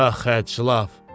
Ax, həçlaf!